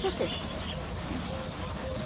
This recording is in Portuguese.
Por quê? Hein?